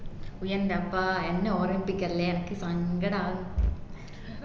ഉയെന്റപ്പാ എന്നെ ഓർമിപ്പിക്കല്ലേ എനക്ക് സങ്കടവുന്നു